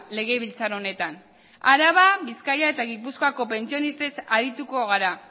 legebiltzar honetan araba bizkaia eta gipuzkoako pentsionistez arituko gara